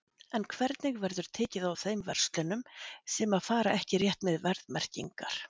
En hvernig verður tekið á þeim verslunum sem að fara ekki rétt með verðmerkingar?